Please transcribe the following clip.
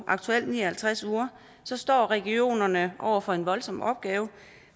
ni og halvtreds uger står regionerne over for en voldsom opgave